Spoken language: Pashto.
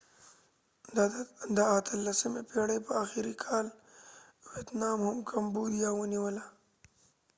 د 18 اتلسمی پیړی په اخری کال ويتنام هم کمبوديا ونیوله